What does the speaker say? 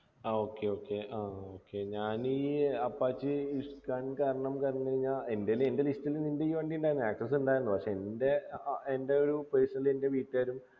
ആ okay okay ആഹ് okay ഞാൻ ഈ apache ഇഷ് കാൻ കാരണം പറഞ്ഞു കയിഞ്ഞ എൻ്റെൽ എൻ്റെ list ൽ നിൻ്റെ ഈ വണ്ടി ഉണ്ടാരുന്നു access ഉണ്ടാർന്നു പക്ഷെ ൻ്റെ ആഹ് എൻ്റെ ഒരു personally എൻ്റെ വീട്ടുകാരും